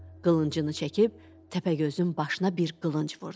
Qılıncını çəkib Təpəgözün başına bir qılınc vurdu.